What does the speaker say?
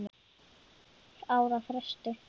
ára fresti.